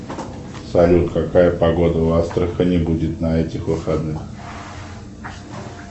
салют какая погода в астрахани будет на этих выходных